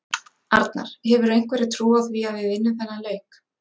Arnar: Hefurðu einhverja trú á því að við vinnum þennan leik?